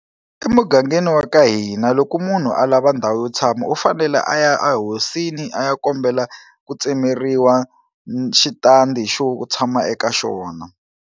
Emugangeni wa ka hina loko munhu a lava ndhawu yo tshama u fanele a ya a hosini a ya kombela ku tsemeriwa xitandi xo tshama eka xona.